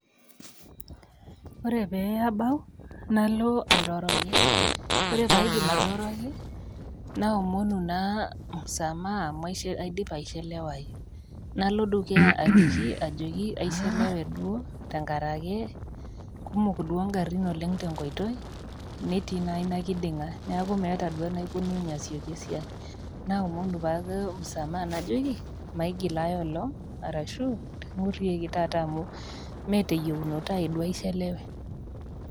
Ore peebau nalo airoroki, ore paidip airoroki naomonu naa msamaha amu aidipa ashelewai, nalo dukuya ajoki aishelewe duo tenkaraki kumok duo ngarin tenkoitoi netii inakindinga neaku meata duo anaikunune asieki esiai naomonu ake msamaha najoki maigil ailong arashu ngurieki taata amu meeteyiunoto aai aichelewe.